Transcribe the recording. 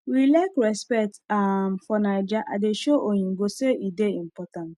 we like respect um for naija i dey show oyinbo say e dey important